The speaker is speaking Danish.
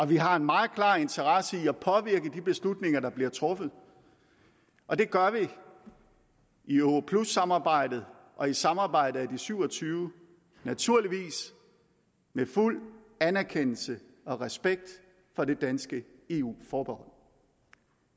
vi har en meget klar interesse i at påvirke de beslutninger der bliver truffet og det gør vi i europlussamarbejdet og i samarbejdet med de syv og tyve naturligvis med fuld anerkendelse og respekt for det danske eu forbehold